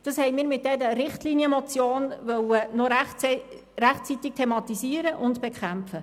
Das wollten wir mit dieser Richtlinienmotion noch rechtzeitig thematisieren und bekämpfen.